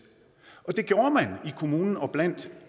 og det gjorde man i kommunen og blandt